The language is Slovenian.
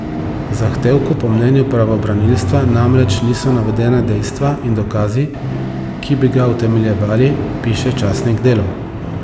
V zahtevku po mnenju pravobranilstva namreč niso navedena dejstva in dokazi, ki bi ga utemeljevali, piše časnik Delo.